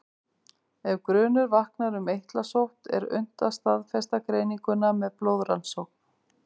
Ef grunur vaknar um eitlasótt er unnt að staðfesta greininguna með blóðrannsókn.